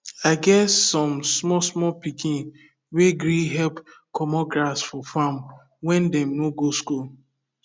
i get some small small pikin wey gree help commot grass for farm when dem no go school